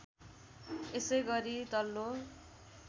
यसै गरी तल्लो